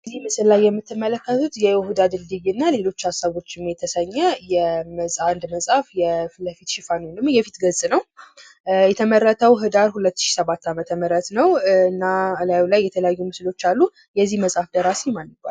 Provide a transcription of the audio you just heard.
እዚህ ምስል ላይ የምትመለከቱት የይሁዳ ድልድይ እና ሌሎች ሀሳቦች የሚል የመጽሐፍ ሽፋን የፊት ገጽ ነው። ከላይ የተለያዩ ምስሎች አሉ። የዚህ መጽሐፍ ደራሲ ማን ይባላል?